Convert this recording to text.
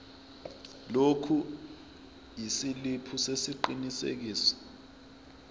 lokhu isiliphi sesiqinisekiso